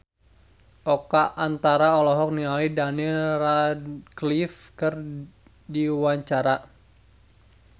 Oka Antara olohok ningali Daniel Radcliffe keur diwawancara